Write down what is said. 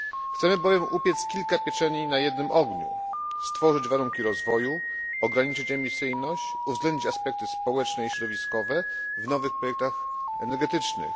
Chcemy bowiem upiec kilka pieczeni na jednym ogniu stworzyć warunki rozwoju, ograniczyć emisyjność, uwzględnić aspekty społeczne i środowiskowe w nowych projektach energetycznych.